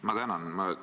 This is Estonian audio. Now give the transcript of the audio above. Ma tänan!